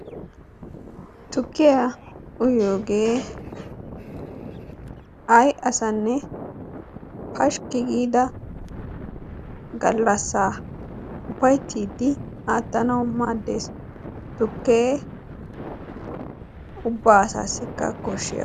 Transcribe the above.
Tuukiya uyiyode ay asaane pashkki gida gallassa ufayttidi attanawu maadess. Tukke ubba asaasika koshshees.